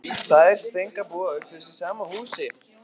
Þær Steinka búa auk þess í sama húsi.